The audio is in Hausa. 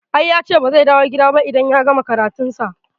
I yace ba zai dawo gida ba idan ya gama karatu sa